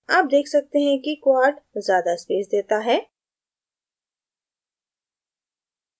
आप देख सकते हैं कि quad ज्यादा space देता है